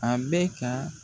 A bɛ ka.